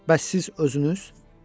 Bəs siz özünüz?